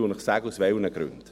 Ich sage Ihnen, weshalb.